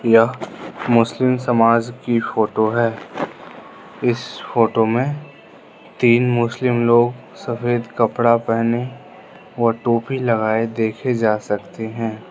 यह मुस्लिम समाज की फोटो है इस फोटो में तीन मुस्लिम लोग सफेद कपड़ा पहने और टोपी लगाए देखे जा सकते हैं।